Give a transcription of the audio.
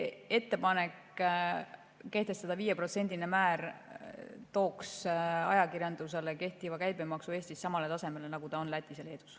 Ettepanek kehtestada 5%‑line määr tooks ajakirjanduse puhul kehtiva käibemaksu Eestis samale tasemele, nagu see on Lätis ja Leedus.